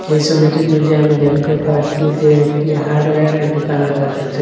এই সবিটির মধ্যে আমি দেখতে পাচ্ছি যে একটি হার্ডওয়ারের দোকান দেখা যাচ্ছে।